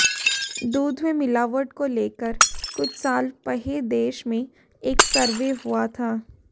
दूध में मिलावट को लेकर कुछ साल पहे देश में एक सर्वे हुआ था